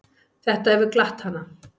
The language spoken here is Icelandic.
Þetta hefur glatt hana.